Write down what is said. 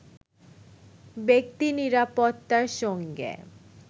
ব্যক্তি নিরাপত্তার সঙ্গে